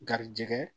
Garijɛgɛ